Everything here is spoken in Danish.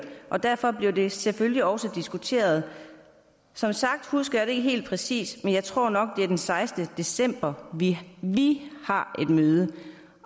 og derfor bliver det selvfølgelig også diskuteret som sagt husker jeg det ikke helt præcist men jeg tror nok det er den sekstende december vi vi har et møde